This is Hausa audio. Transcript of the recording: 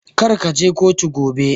Kar kaje kotu gobe.